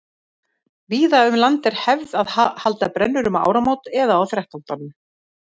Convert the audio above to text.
víða um land er hefð að halda brennur um áramót eða á þrettándanum